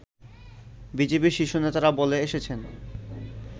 বিজেপির শীর্ষ নেতারা বলে এসেছেন